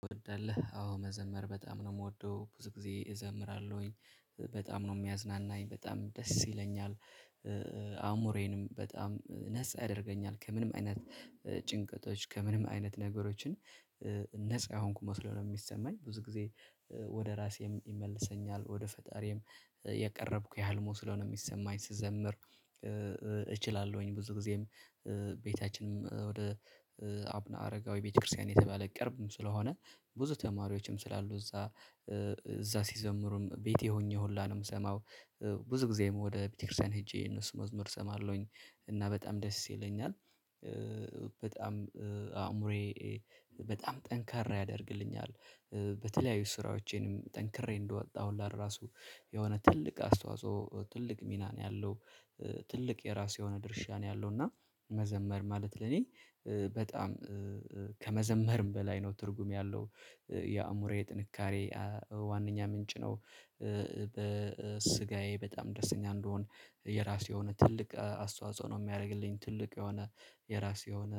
ትወዳለህ አዎ መዘመር በጣም ነው የምወደው ብዙ ጊዜ እዘምራለሁኝ በጣም ነው የሚያዝናናኝ በጣም ደስ ይለኛል። አይምሮዬንም በጣም ነፃ ያደርገኛል ከምንም አይነት ጭንቀቶች ከምንም አይነት ነገሮችን ነፃ የሆንኩ መስለው ነው የሚሰማኝ ብዙ ጊዜ። ወደ ራሴም ይመልሰኛል ወደ ፈጣሪም የቀረብኩኝ ያህል ስለሆነ የሚሰማኝ ስዘምር። እችላለሁኝ ብዙ ጊዜም ቤታችንም ወደ አቡነ አረጋዊ ቤተክርስቲያን የተባለ ቅርብም ስለሆነ ብዙ ተማሪዎችም ስላሉ እዛ እዛ ሲዘምሩም ቤቴ ሆኜ ሁላ ነው የምሰማው። ብዙ ጊዜም ወደ ቤተክርስቲያን ሄጄ የእነሱ መዝሙር እሰማለሁኝ እና በጣም ደስ ይለኛል። በጣም አእምሮዬ በጣም ጠንካራ ያደርግልኛል። በተለያዩ ስራዎቼንም ጠንክሬ እንድወጣ ራሱ የሆነ ትልቅ አስተዋጽኦ ትልቅ ሚና ነው ያለው። ትልቅ የራሱ የሆነ ድርሻ ነው ያለው። እና መዘመር ማለት ለኔ በጣም ከመዘመርም በላይ ነው ትርጉም ያለው የአእምሮዬ ጥንካሬ ዋናኛ ምንጭ ነው። በስጋዬ በጣም ደስተኛ እንድሆን የራሴ የሆነ ትልቅ አስተዋጽኦ ነው የሚያደርግልኝ ትልቅ የሆነ የራሴ የሆነ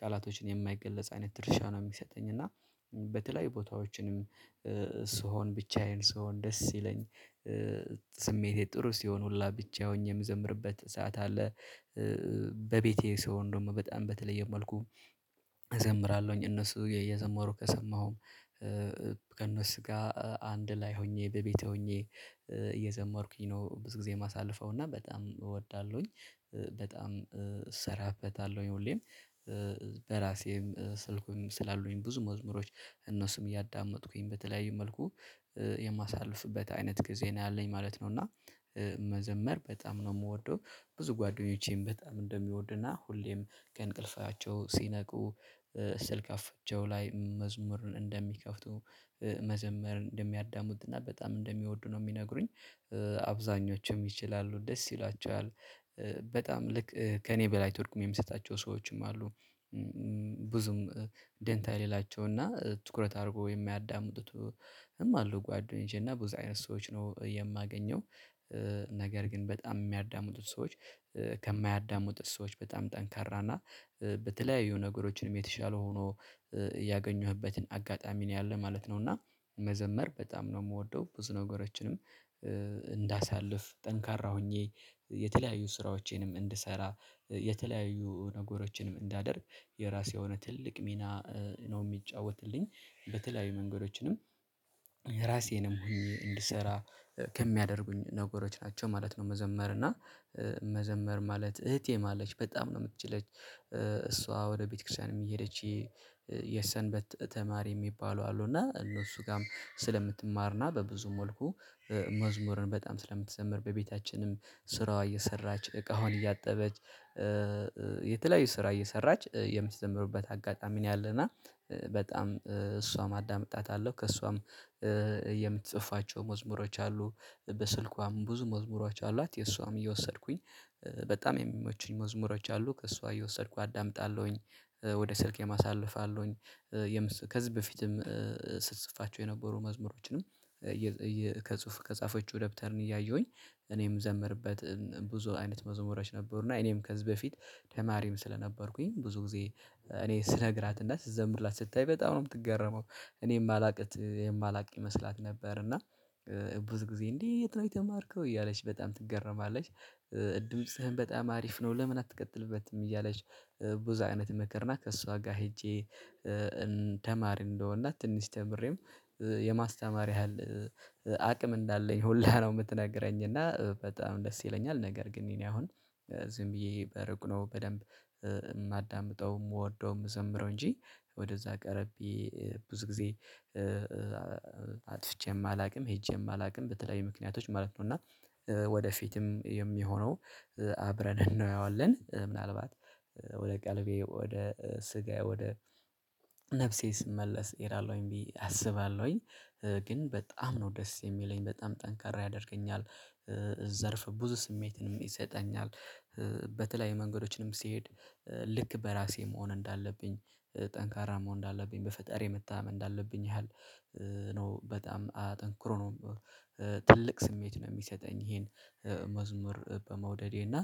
ቃላቶችን የማይገለጽ አይነት ድርሻ ነው የሚሰጠኝ እና በተለያዩ ቦታዎችንም ስሆን ብቻዬን ስሆን ደስ ሲለኝ። ስሜቴ ጥሩ ሲሆን ሁላ ብቻ ሆኜ የምዘምርበት ሰዓት አለ። በቤቴ ስሆን ደግሞ በጣም በተለየ መልኩ እዘምራለሁኝ እነሱ እየዘመሩ ከሰማሁም ከእነሱ ጋር አንድ ላይ ሆኜ በቤቴ ሆኜ እየዘመርኩኝ ነው ብዙ ጊዜ የማሳልፈው እና በጣም እወዳለሁኝ። በጣም እሰራበታለሁኝ ሁሌም በራሴም ስልኩን ስላሉኝ ብዙ መዝሙሮች እነሱም እያዳመጥኩኝ በተለያዩ መልኩ የማሳልፍበት አይነት ጊዜ ነው ያለኝ ማለት ነው። እና መዘመር በጣም ነው የምወደው። ብዙ ጓደኞቼም በጣም እንደሚወዱና ሁሌም ከእንቅልፋቸው ሲነቁ ስልክ አፍቼው ላይ መዝሙርን እንደሚከፍቱ መዘመር እንደሚያዳምጡና በጣም እንደሚወዱ ነው የሚነግሩኝ። አብዛኞቹም ይችላሉ ደስ ይላቸዋል። በጣም ልክ ከእኔ በላይ ትርጉም የምሰጣቸው ሰዎችም አሉ። ብዙም ደንታ የሌላቸው እና ትኩረት አድርጎ የማያዳምጡትም አሉ ጓደኞቼ እና ብዙ አይነት ሰዎች ነው የማገኘው። ነገር ግን በጣም የሚያዳሙጡት ሰዎች ከማያዳሙጡት ሰዎች በጣም ጠንካራ እና በተለያዩ ነገሮችም የተሻሉ ሆኖ ያገኙህበትን አጋጣሚ ነው ያለ ማለት ነው። እና መዘመር በጣም ነው የምወደው ብዙ ነገሮችንም እንዳሳልፍ ጠንካራ ሆኜ የተለያዩ ስራዎቼንም እንድሰራ የተለያዩ ነገሮችንም እንዳደርግ የራሴ የሆነ ትልቅ ሚና ነው የሚጫወትልኝ። በተለያዩ መንገዶችም ራሴንም ሆኜ እንድሰራ ከሚያደርጉኝ ነገሮች ናቸው ማለት ነው። መዘመር እና መዘመር ማለት እህቴም አለች በጣም ነው የምትችለው እሷ ወደ ቤተክርስቲያንም እየሄደች። የሰንበት ተማሪ የሚባሉ አሉ እና እነሱ ጋርም ስለምትማር እና በብዙ መልኩ መዝሙርን በጣም ስለምትዘምር በቤታችንም ስራዋን እየሰራች እቃዋን እያጠበች የተለያዩ ስራ እየሰራች የምትዘምርበት አጋጣሚ ነው ያለና። በጣም እሷን አዳምጣታለው ከእሷም የምትጽፋቸው መዝሙሮች አሉ በስልኳም ብዙ መዝሙሮች አሏት ከእሷም እየወሰድኩኝ በጣም የሚመቹኝ መዝሙሮች አሉ ከእሷ እየወሰድኩ አዳምጣለሁኝ ወደ ስልኬም አሳልፋለሁኝ። ከዚህ በፊትም ስትጽፋቸው የነበሩ መዝሙሮችንም ከጽሁፍ ከጻፈችው ደብተርን እያየሁኝ እኔም የምዘምርበት ብዙ አይነት መዝሙራች ነበሩና እኔም ከዚህ በፊት ተማሪም ስለነበርኩኝ ብዙ ጊዜ እኔ ስነግራት እና ስዘምርላት ስታይ በጣም ነው የምትገረመው። እኔ የማላውቅ የማላውቅ ይመስላት ነበር እና ብዙ ጊዜ እንዴት ነው የተማርከው እያለች በጣም ትገረማለች። ድምጽህን በጣም አሪፍ ነው ለምን አትቀጥልበትም? እያለች ብዙ አይነት ምክርና ከእሷ ጋር ሄጄ ተማሪ እንደሆንና ትንሽ ተምሬም የማስተማር ያህል አቅም እንዳለኝ ሁላ ነው የምትናገረኝ። እና በጣም ደስ ይለኛል። ነገር ግን እኔ አሁን ዝም ብዬ በሩቅ በደንብ የማዳምጠው የምወደው የምዘምረው እንጂ ወደዛ ቀረቤ ብዙ ጊዜ አጥፍቼም አላውቅም ሄጄም አላውቅም በተለያዩ ምክንያቶች ማለት ነው። እና ወደፊትም የሚሆነው አብረን እናየዋለን ምናልባት ወደ ቀልቤ ወደ ስጋዬ ወደ ነፍሴ ስመለስ እሄዳለሁኝ ብዬ አስባለሁኝ ግን በጣም ነው ደስ የሚለኝ በጣም ጠንካራ ያደርገኛል። ዘርፈ ብዙ ስሜትንም ይሰጠኛል። በተለይ መንገዶችንም ስሄድ ልክ በራሴ መሆን እንዳለብኝ ጠንካራ መሆን እንዳለብኝ በፈጣሪ የመታመን እንዳለብኝ ያህል ነው በጣም አጠንክሮ ነው። ትልቅ ስሜት ነው የሚሰጠኝ። ይሄን መዝሙር በመውደዴ እና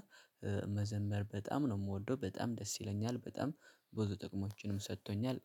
መዘመር በጣም ነው የምወደው በጣም ደስ ይለኛል በጣም ብዙ ጥቅሞችንም ሰጥቶኛል።